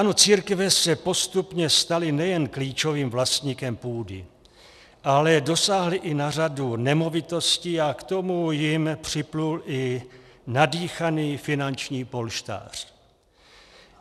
Ano, církve se postupně staly nejen klíčovým vlastníkem půdy, ale dosáhly i na řadu nemovitostí a k tomu jim připlul i nadýchaný finanční polštář.